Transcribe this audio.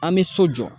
An bɛ so jɔ